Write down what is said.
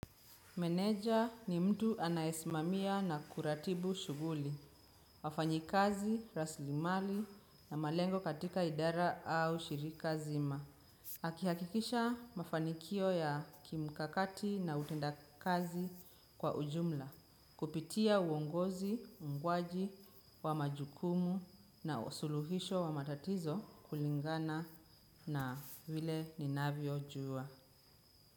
Meneja ni mtu anayesimamia na kuratibu shughuli, wafanyikazi, raslimali na malengo katika idara au shirika zima. Aki hakikisha mafanikio ya kimikakati na utenda kazi kwa ujumla, kupitia uongozi, uungwaji wa majukumu na usuluhisho wa matatizo kulingana na vile ninavyojua.